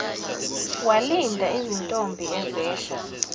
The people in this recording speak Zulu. walinda izintombi ezehla